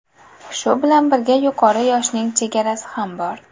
Shu bilan birga yuqori yoshning chegarasi ham bor.